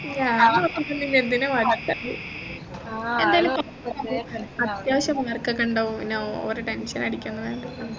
ഞാൻ നോക്കീട്ടൊന്നുമില്ല എന്തിനാ എന്തായാലും അത്യാവശ്യം mark ഒക്കെ ഉണ്ടാവും പിന്നെ over tension അടിക്കുന്നതെന്തിന